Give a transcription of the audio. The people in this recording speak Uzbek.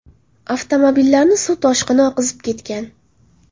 Avtomobillarni suv toshqini oqizib ketgan.